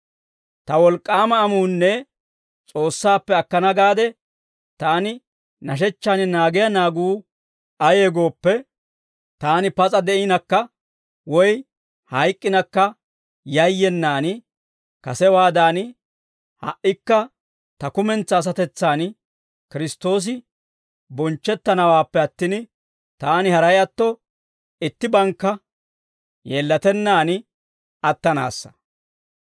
Ta wolk'k'aama amuunne S'oossaappe akkana gaade taani nashechchan naagiyaa naaguu ayee gooppe, taani pas'a de'inakka woy hayk'k'inakka yayyenaan, kasewaadan ha"ikka ta kumentsaa asatetsan Kiristtoosi bonchchettanawaappe attin, taani haray atto ittibankka yeellatennaan attanaassa.